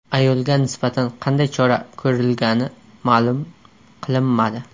Ayolga nisbatan qanday chora ko‘rilgani ma’lum qilinmadi.